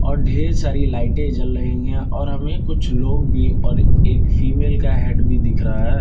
और ढेर सारी लाइटें जल रही हैं और हमें कुछ लोग भी और एक फीमेल का हेड भी दिख रहा है।